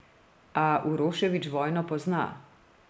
A Uroševič vojno pozna.